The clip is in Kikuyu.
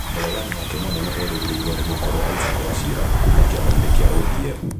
Mũregani wake mũnene erĩgĩrĩirwo nĩ gũkorwo Isiac Wachira, kuuma kĩama-inĩ kĩa ODM.